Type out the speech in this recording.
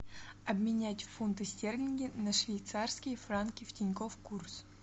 обменять фунты стерлинги на швейцарские франки в тинькофф курс